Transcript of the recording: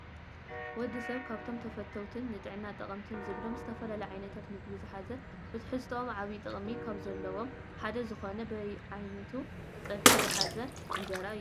ወድሰብ ካብቶም ተፈተውትን ንጥዕና ጠቐምትን ዝብሎም ዝተፈላለዩ ዓይነታት ምግቢ ዝሓዘ ብትሕዝትኦም ዓብይ ጥቕሚ ካብ ዘለዎም ሓደ ዝኾነ በቢዓይነቱ ፀብሒ ዝሓዘ እንጀራ እዩ።